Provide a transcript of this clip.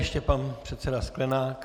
Ještě pan předseda Sklenák.